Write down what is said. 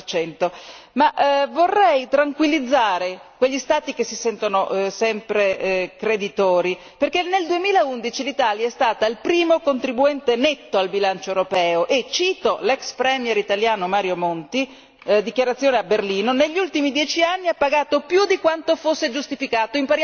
50. Ma vorrei tranquillizzare quegli Stati che si sentono sempre creditori perché nel 2011 l'Italia è stata il primo contribuente netto al bilancio europeo e cito l'ex premier italiano Mario Monti, dichiarazione a Berlino negli ultimi dieci anni ha pagato più di quanto fosse giustificato.